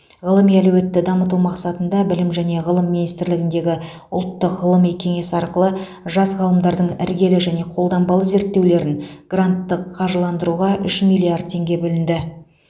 ғылыми әлеуетті дамыту мақсатында білім және ғылым министрлігіндегі ұлттық ғылыми кеңес арқылы жас ғалымдардың іргелі және қолданбалы зерттеулерін гранттық қаржыландыруға үш миллиард теңге бөлінді